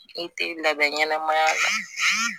I tɛ labɛn ɲɛnamaya la